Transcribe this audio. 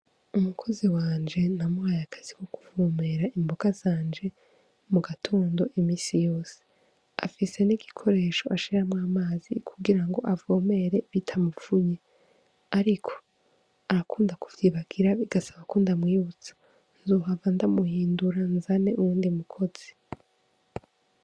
Umukozi wanje namuhaye akazi ko kuvomera imboga zanje mu gatondo imisi yose afise n'igikoresho ashiramwo amazi kugira ngo avomere bitamupfunye, ariko arakunda kuvyibagira bigasaba ko ndamwibutsa nzohava ndamuhindura nzane uwundi mukozi .